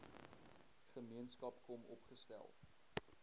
gemeenskap kom opgestel